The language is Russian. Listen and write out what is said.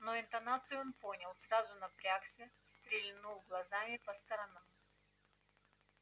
но интонацию он понял сразу напрягся стрельнул глазами по сторонам